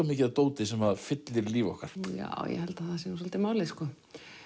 mikið af dóti sem fyllir líf okkar já ég held að það sé nú svolítið málið sko